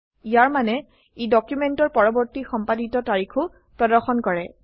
ইয়াৰ মানে ই ডকুমেন্টৰ পৰবৰ্তী সম্পাদিত তাৰিখো প্ৰদৰ্শন কৰে